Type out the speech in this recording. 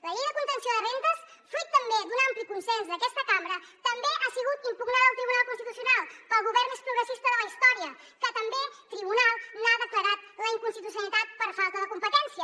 la llei de contenció de rendes fruit també d’un ampli consens d’aquesta cambra també ha sigut impugnada al tribunal constitucional pel govern més progressista de la història que també el tribunal n’ha declarat la inconstitucionalitat per falta de competència